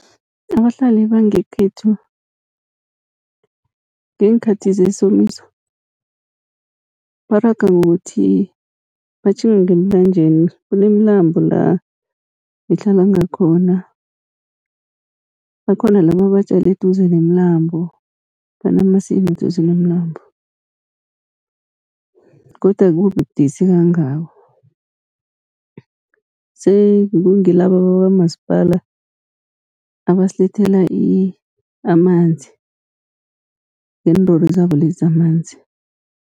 Abahlali bangekhethu ngeenkhathi zesomiso, baraga ngokuthi batjhinge ngemlanjeni. Kunemilambo la ngihlala ngakhona, bakhona laba abatjale eduze nemilambo banamasimu duze nomlambo. Godu akubi budisi kangako, sengilabo bakamasipala abasilethela amanzi ngeenlori zabo lezi zamanzi.